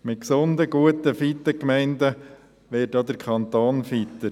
Mit gesunden, guten und fitten Gemeinden wird auch der Kanton fitter.